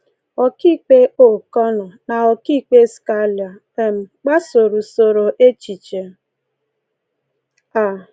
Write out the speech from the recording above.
Ọkaikpe O’Connor na Ọkaikpe Scalia um gbasoro usoro echiche a.